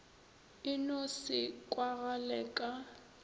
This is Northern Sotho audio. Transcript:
e no se kwagale ka